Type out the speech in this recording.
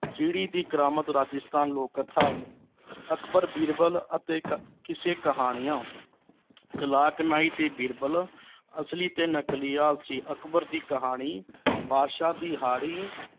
ਚਿੜੀ ਦੀ ਕਰਾਮਤ ਰਾਜਸਥਾਨ ਲੋਕ ਕਥਾ ਅਕਬਰ ਬੀਰਬਲ ਅਤੇ ਕ ਕਿਸੇ ਕਹਾਣੀਆਂ ਚਲਾਕ ਨਾਈ ਤੇ ਬੀਰਬਲ ਅਸਲੀ ਤੇ ਨਕਲੀ ਆਲਸੀ ਅਕਬਰ ਦੀ ਕਹਾਣੀ ਬਾਦਸ਼ਾਹ ਦਿਹਾੜੀ